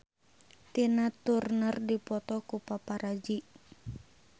Tina Turner dipoto ku paparazi